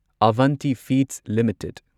Avanti Feeds limited